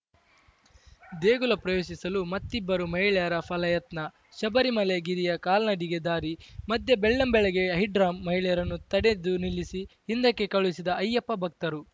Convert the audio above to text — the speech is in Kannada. ದೇಗುಲ ಪ್ರವೇಶಿಸಲು ಮತ್ತಿಬ್ಬರು ಮಹಿಳೆಯರ ಫಲ ಯತ್ನ ಶಬರಿಮಲೆ ಗಿರಿಯ ಕಾಲ್ನಡಿಗೆ ದಾರಿ ಮಧ್ಯೆ ಬೆಳ್ಳಂಬೆಳಗ್ಗೆ ಹೈಡ್ರಾಮಾ ಮಹಿಳೆಯರನ್ನು ತಡೆದುನಿಲ್ಲಿಸಿ ಹಿಂದಕ್ಕೆ ಕಳುಹಿಸಿದ ಅಯ್ಯಪ್ಪ ಭಕ್ತರು